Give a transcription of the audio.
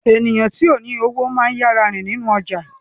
Eniyan ti ko ni owo maa ń yara rin ninu ọja